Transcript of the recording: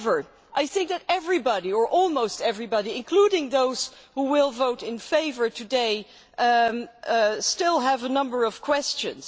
However, I think that everybody or almost everybody, including those who will vote in favour today still has a number of questions.